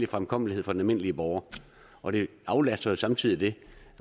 fremkommelighed for den almindelige borgere og det aflaster jo samtidig det